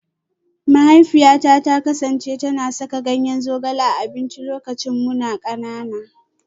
Mahaifiyata ta kasance tana saka ganyen zogale a abinci lokacin muna kanana